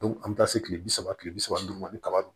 an bɛ taa se kile bi saba kile bi saba ni duuru ma ni kaba don